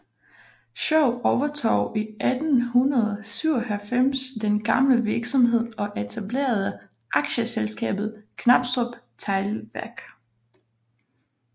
Schou overtog i 1897 den gamle virksomhed og etablerede Aktieselskabet Knabstrup Teglværk